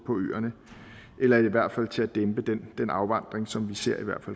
øerne eller i hvert fald til at dæmpe den afvandring som vi ser